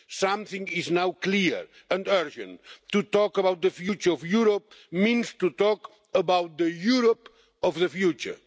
Something is now clear and urgent. To talk about the future of Europe means to talk about the Europe of the future.